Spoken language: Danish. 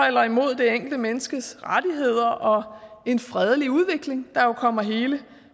eller imod det enkelte menneskes rettigheder og for en fredelig udvikling der jo kommer hele